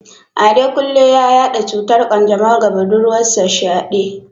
Adekunle ya yada cutar kanjamau ga budurwarsa Shade.